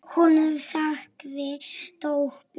Hún þagði döpur.